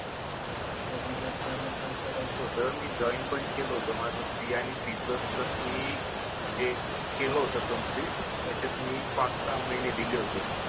मला डेव्हलपमेंट करायचं होतं मी जॉईन पण केलं होतं माझं सी आणि सी प्लस प्लस मी म्हणजे केलं होतं कम्प्लीट त्याच्यात मी पाच सहा महिने दिले होते